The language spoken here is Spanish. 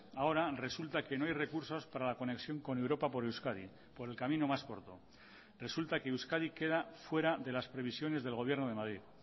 ahora resulta que no hay recursos para la conexión con europa por euskadi por el camino más corto resulta que euskadi queda fuera de las previsiones del gobierno de madrid